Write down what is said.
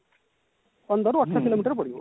ପନ୍ଦର ରୁ ଅଠର କିଲୋମିଟର ପଡିବ